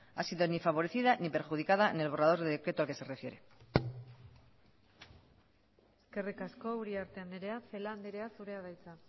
ha sido favorecida ni perjudicada en el borrador de decreto al que se refiere eskerrik asko uriarte andrea celaá andrea zurea da hitza